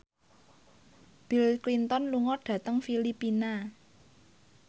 Bill Clinton lunga dhateng Filipina